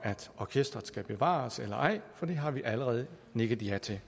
orkestret skal bevares eller ej for det har vi allerede nikket ja til at